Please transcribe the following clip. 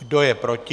Kdo je proti?